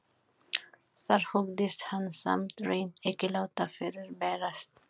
Þar hugðist hann samt hreint ekki láta fyrirberast.